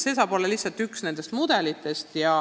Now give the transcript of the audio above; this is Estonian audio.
See saab olla üks mudelitest.